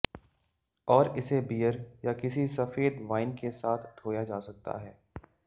और इसे बीयर या किसी सफेद वाइन के साथ धोया जा सकता है